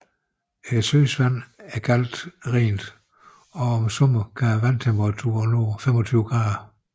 Søens vand er meget rent og om sommeren kan vandtemperaturen nå over 25 grader